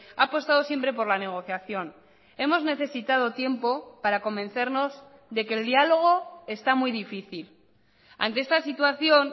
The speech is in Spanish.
ha apostado siempre por la negociación hemos necesitado tiempo para convencernos de que el diálogo está muy difícil ante esta situación